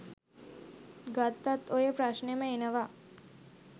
ගත්තත් ඔය ප්‍රශ්නෙම එනව.